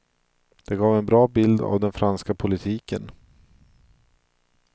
Det gav en bra bild av den franska politiken.